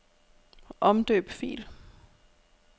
Omdøb fil.